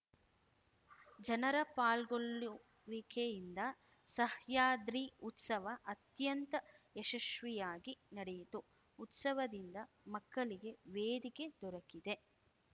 ಜನರ ಪಾಲ್ಗೊಳ್ಳುವಿಕೆಯಿಂದ ಸಹ್ಯಾದ್ರಿ ಉತ್ಸವ ಅತ್ಯಂತ ಯಶಸ್ವಿಯಾಗಿ ನಡೆಯಿತು ಉತ್ಸವದಿಂದ ಮಕ್ಕಳಿಗೆ ವೇದಿಕೆ ದೊರಕಿದೆ